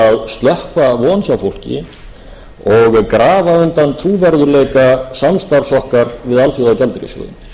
reyna að slökkva von hjá fólki og grafa undan trúverðugleika samstarfs okkar við alþjóðagjaldeyrissjóðinn